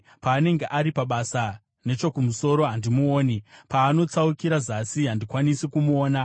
Paanenge ari pabasa nechokumusoro, handimuoni; paanotsaukira zasi, handikwanisi kumuona.